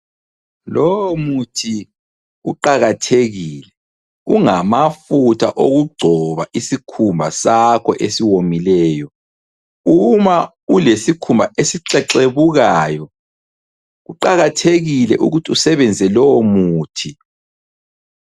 Lowo muthi uqakathekile ungamafutha okugcoba isikhumba sakho esiwomileyo. Uma ulesikhumba esixexebukayo kuqakathekile ukuthi usebenzise lowo muthi.